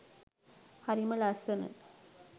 හරිම ලස්සන